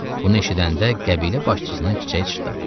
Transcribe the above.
Bunu eşidəndə qəbilə başçısının çiçəyi çıtdadı.